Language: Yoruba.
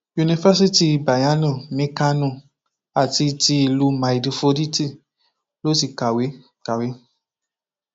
yunifásitì bayerno ní kánò àti ti ìlú maidforítì ló ti kàwé kàwé